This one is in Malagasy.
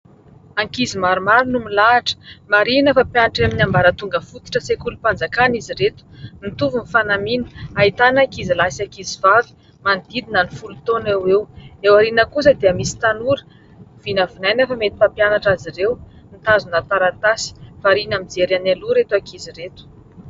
Ankizy maromaro no milahitra marihina fa mpianatra amin'ny ambara tonga fotitra sekolim-panjakana izy reto mitovy ny fanamiana ahitana ankizy lahy sy ankizy vavy manodidina ny folo taona eo eo. Eo ariana kosa dia misy tanora vinavinaina fa mety mpampianatra azy ireo mitazona taratasy. Variana mijery any aloha ireto ankizy ireto.